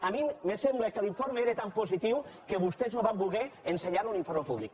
a mi me sembla que l’informe era tan positiu que vostès no van voler ensenyar un informe públic